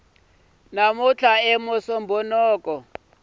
musumbhunuku